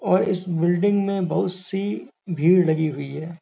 और इस बिल्डिंग में बहुत सी भीड़ लगी हुई है।